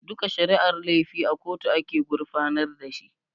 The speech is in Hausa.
Duka shari'ar laifi a kotu ake gurfanar da shi